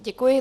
Děkuji.